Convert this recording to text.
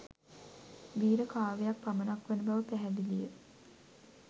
වීර කාව්‍යයක් පමණක් වන බව පැහැදිලිය